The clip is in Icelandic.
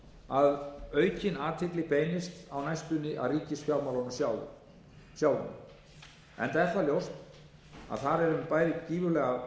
að aukin athygli beinist á næstunni að ríkisfjármálunum sjálfum enda er það ljóst að þar er um bæði gífurlega